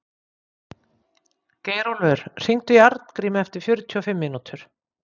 Geirólfur, hringdu í Arngrímu eftir fjörutíu og fimm mínútur.